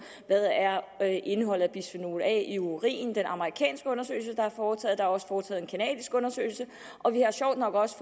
hvad indholdet af bisfenol a i urin er det amerikansk undersøgelse der er foretaget der er også foretaget en canadisk undersøgelse og vi er sjovt nok også